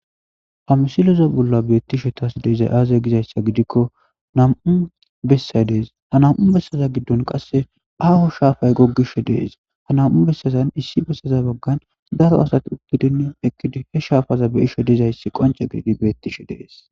amisiloza bolla beettishe taas deezay aazay gizayssa gidikko nam7u bessa dees ha nam7u bessaza giddon qasse aaho shaafay goggish dees ha nam7u bessazan issi bessaza baggan daro asati uddidin ekkidi he shaafaza be isho dizayssi qonce gididi beettishe dees